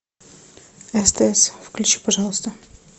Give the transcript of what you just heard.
стс включи пожалуйста